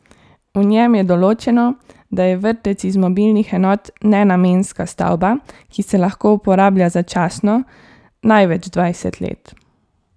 V njem je določeno, da je vrtec iz mobilnih enot nenamenska stavba, ki se lahko uporablja začasno, največ dvajset let.